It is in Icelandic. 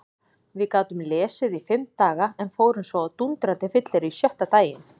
Við gátum lesið í fimm daga en fórum svo á dúndrandi fyllerí sjötta daginn.